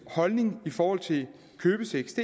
holdning i forhold til købesex